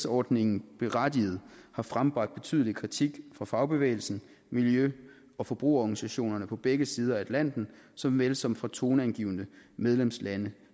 ordningen berettiget har frembragt betydelig kritik fra fagbevægelsen og miljø og forbrugerorganisationer på begge sider af atlanten såvel som fra toneangivende medlemslande